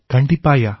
கண்டிப்பாய்யா